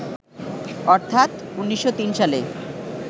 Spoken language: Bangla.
অর্থাৎ ১৯০৩ সালে